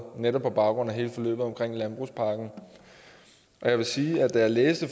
netop på baggrund af hele forløbet om landbrugspakken jeg vil sige at da jeg læste